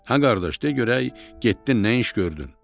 Hə qardaş, de görək, getdin nə iş gördün?